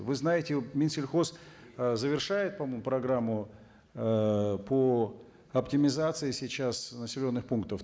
вы знаете минсельхоз ы завершает по моему программу ыыы по оптимизации сейчас населенных пунктов